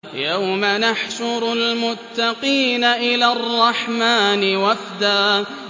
يَوْمَ نَحْشُرُ الْمُتَّقِينَ إِلَى الرَّحْمَٰنِ وَفْدًا